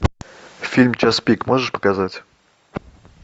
фильм час пик можешь показать